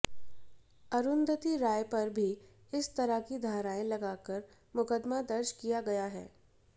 अरूंधति राय पर भी इसी तरह की धाराएं लगाकर मुकदमा दर्ज किया गया है